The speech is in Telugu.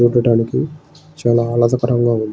చూడడానికి చాలా ఆహ్లదకరంగా ఉంది.